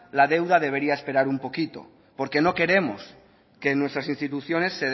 la deuda debería esperar un poquito porque no queremos que en nuestras instituciones